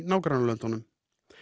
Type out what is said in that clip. nágrannalöndunum